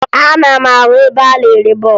Ana m ahụ ebe a na-ere bọọbụ